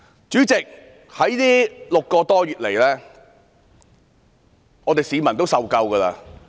主席，這6個多月來，市民已經受夠。